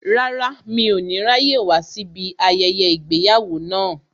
Rárá, mi ò ní ráyè wá síbí ayẹyẹ ìgbéyàwó náà